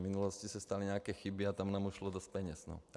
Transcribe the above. V minulosti se staly nějaké chyby a tam nám ušlo dost peněz.